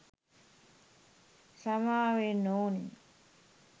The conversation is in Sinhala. සමාවෙන්න ඔනි